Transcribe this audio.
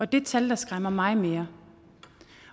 det tal der skræmmer mig mere